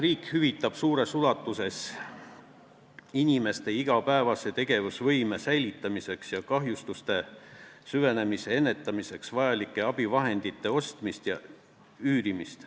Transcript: Riik toetab suures ulatuses inimeste igapäevase tegevusvõime säilitamiseks ja kahjustuste süvenemise ärahoidmiseks vajalike abivahendite ostmist ja üürimist.